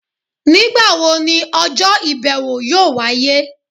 Nigbawo ni ọjọ ibẹwo yọọ waye?